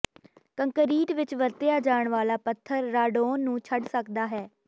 concrete ਵਿਚ ਵਰਤਿਆ ਜਾਣ ਵਾਲਾ ਪੱਥਰ ਰਾਡੋਨ ਨੂੰ ਛੱਡ ਸਕਦਾ ਹੈ